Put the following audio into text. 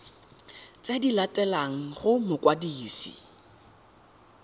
tse di latelang go mokwadisi